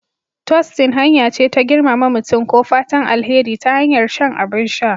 Tostin hanya ce ta girmama mutum ko fatan alheri ta hanyar shan abin sha